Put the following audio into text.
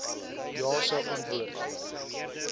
ja sou antwoord